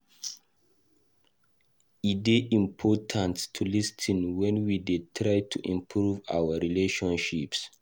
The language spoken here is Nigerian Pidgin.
E dey important to lis ten wen we dey try to improve our relationships.